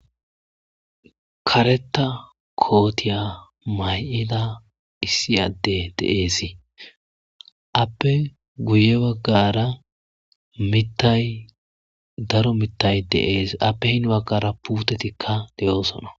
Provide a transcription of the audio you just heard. Kareta kootiya may7ida issi adde deeesi appe guye baggara mittay daro mitay deeesi appe hin baggara puutetikka de7oosona.